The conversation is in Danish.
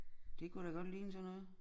Det kunne da godt ligne sådan noget